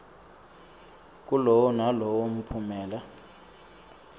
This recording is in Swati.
kulowo nalowo mphumela